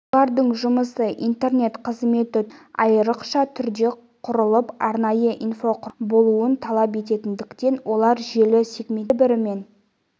бұлардың жұмысы интернет қызметі түрлерінен айрықша түрде құрылып арнайы инфрақұрылымның болуын талап ететіндіктен олар желі сегменттерін бір бірімен